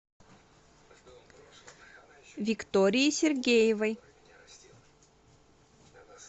виктории сергеевой